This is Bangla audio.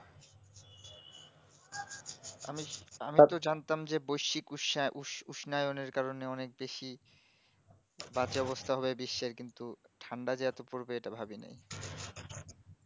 আমি আমি তো জানতাম যে বস্সি কোস্সা উস উস্নানেরকারণে অনেক বেশি বাজে অবস্থা হয়ে বিশ্সের কিন্তু ঠান্ডা যে এতো পড়বে এটা ভাবিনি